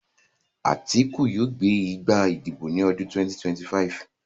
Àtíkù yóò gbé gbá ìdìbò ní ọdún 2025